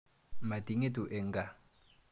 Mati ng'etu eng' kaa.